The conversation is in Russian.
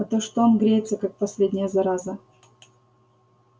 а то что он греется как последняя зараза